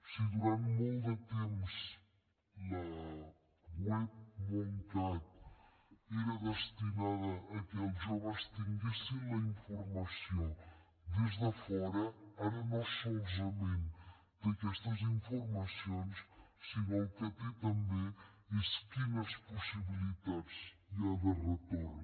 si durant molt de temps la web móncat era destinada al fet que els joves tinguessin la informació des de fora ara no solament té aquesta informació sinó que el que té també és quines possibilitats hi ha de retorn